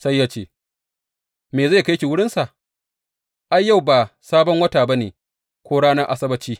Sai ya ce, Me zai kai ki wurinsa, ai, yau ba Sabon Wata ba ne ko ranar Asabbaci?